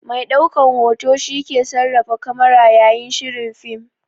Mai ɗaukan hoto shi ke sarrafa kamara yayin shirin fim.